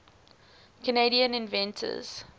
canadian inventors